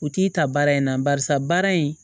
U t'i ta baara in na barisa baara in